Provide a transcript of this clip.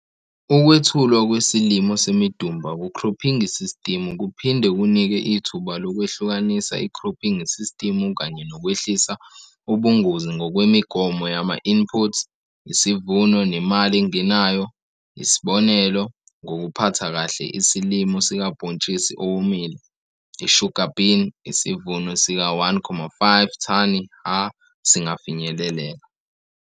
Ukwethulwa kwesilimo semidumba kukhrophingi sistimu kuphinde kunike ithuba lokwehlukanisa ikhrophingi sistimu kanye nokwehlisa ubungozi ngokwemigomo yama-input, isivuno nemali engenayo. Isibonelo, ngokuphatha kahle isilimo sikabhontshisi owomile, i-sugar bean, isivuno, sika-1,5 thani ha singafinyeleleka.